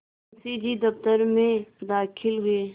मुंशी जी दफ्तर में दाखिल हुए